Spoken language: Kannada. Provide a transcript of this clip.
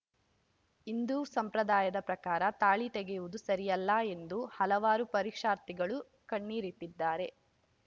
ಹಿಂದೂ ಸಂಪ್ರದಾಯದ ಪ್ರಕಾರ ತಾಳಿ ತೆಗೆಯುವುದು ಸರಿಯಲ್ಲ ಎಂದು ಹಲವಾರು ಪರೀಕ್ಷಾರ್ಥಿಗಳು ಕಣ್ಣೀರಿಟ್ಟಿದ್ದಾರೆ